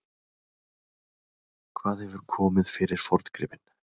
Hvað hefur komið fyrir forngripinn?